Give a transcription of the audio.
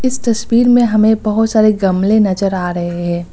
इस तस्वीर में हमें बहुत सारे गमले नजर आ रहे हैं।